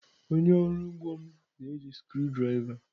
Onye ọrụ ugbo m na-eji screw driver.